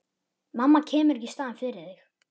Mamma kemur ekki í staðinn fyrir þig.